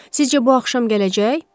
Sizcə bu axşam gələcək?